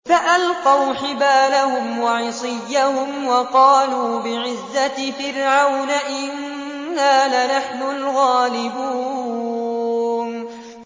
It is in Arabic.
فَأَلْقَوْا حِبَالَهُمْ وَعِصِيَّهُمْ وَقَالُوا بِعِزَّةِ فِرْعَوْنَ إِنَّا لَنَحْنُ الْغَالِبُونَ